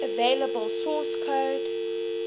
available source code